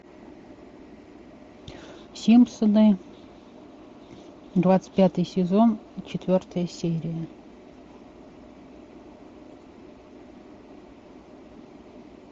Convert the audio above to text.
симпсоны двадцать пятый сезон четвертая серия